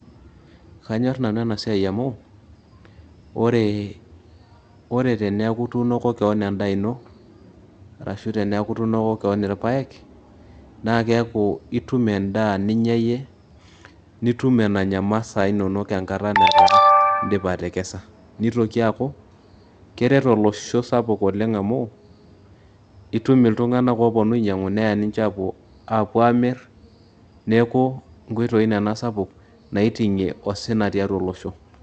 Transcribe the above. Kaanyorr nanu ena siai amu ore teenku ituunoko keon endaa ino arashu teneeku ituunoko keon irpaek naa keeku itum endaa ninya nitum enanya imasaa inonok enkata nindipa atekesa nitoki aaku keret olosho sapuk oleng' amu itum iltung'anak ooponu ainyiang'u neya ninche aapuo aamirr neeku nkoitoi nena sapuk naiting'ie osina tiatua olosho.